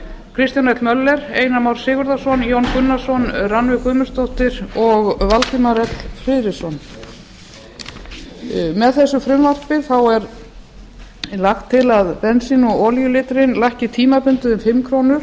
kristján l möller einar már sigurðarson jón gunnarsson rannveig guðmundsdóttir og valdimar l friðriksson með þessu frumvarpi er lagt til að bensín og olíulítrinn lækki tímabundið um fimm krónur